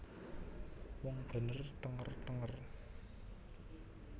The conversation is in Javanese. Wong bener thenger thenger